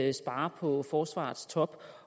at spare på forsvarets top